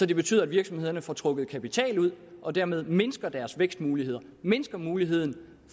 det betyder at virksomhederne får trukket kapital ud og dermed mindsker deres vækstmuligheder mindsker muligheden